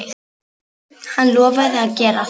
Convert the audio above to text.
Hann lofaði að gera það.